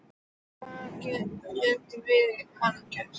Hvað er gert við hann þar?